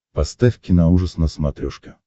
поставь киноужас на смотрешке